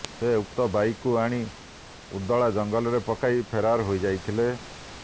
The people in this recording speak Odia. ସେ ଉକ୍ତ ବାଇକକୁ ଆଣି ଉଦଳା ଜଙ୍ଗଲରେ ପକାଇ ଫେରାର ହୋଇଯାଇଥିଲେ